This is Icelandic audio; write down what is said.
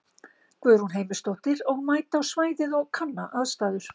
Guðrún Heimisdóttir: Og mæta á svæðið og kanna aðstæður?